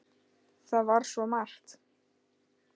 Það var svo margt.